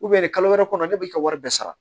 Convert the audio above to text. nin kalo wɛrɛ kɔnɔ ne b'i ka wari bɛɛ sara